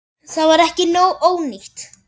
Það var ekki ónýtt.